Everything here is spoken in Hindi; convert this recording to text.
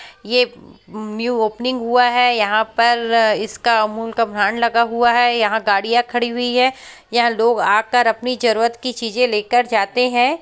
ये न्यू ओपनिंग हुआ है। यहाँ पर इसका अमूल का भांड लगा हुआ है। यहाँ गड़िया खड़ी हुई है। यहाँ लोग आकर अपनी जरुरत की चीजे लेकर जाते है।